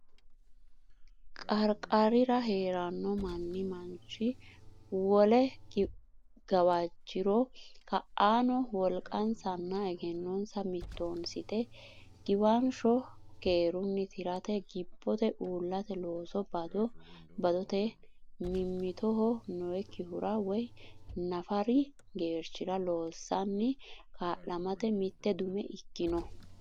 qarqarira hee ranno manni manchi wole gawajjiro ka anno wolqansanna egennonsa mittoonsite giwansho keerunni tirate gibbote uullate looso bado badote mimmitoho nookkihura woy nafari geerchira loossanni ka lamate mitte dume ikkino.